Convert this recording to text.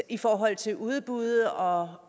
i forhold til udbud og